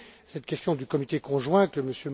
Cette question du comité conjoint, que M.